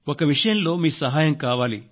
ఒక విషయంలో మీ సహాయం కావాలి